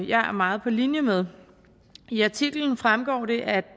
jeg er meget på linje med i artiklen fremgår det at